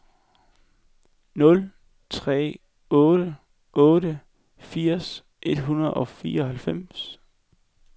nul tre otte otte firs et hundrede og fireoghalvfems